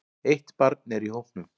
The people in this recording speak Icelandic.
Eitt barn er í hópnum.